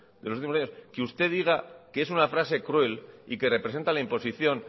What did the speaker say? en los últimos años que usted diga que es una frase cruel y que representa la imposición